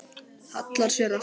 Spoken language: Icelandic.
Hallar sér aftur.